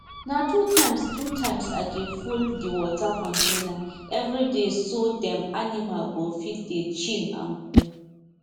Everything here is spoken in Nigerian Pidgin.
na two times two times i dey full the water container every dayso dem animal go fit dey chill and cool